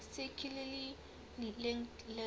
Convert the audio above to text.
circularly linked list